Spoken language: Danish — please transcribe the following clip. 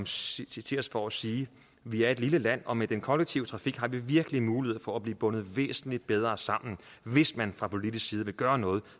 citeres for at sige vi er et lille land og med den kollektive trafik har vi virkelig mulighed for at blive bundet væsentlig bedre sammen hvis man fra politisk side vil gøre noget